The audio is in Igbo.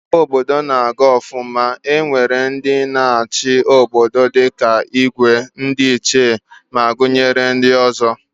Mgbe omenala na Aru ofuma, e nwere ndi na achi obodo dika Igwe, ndi ichie ma gunyere ndi ozo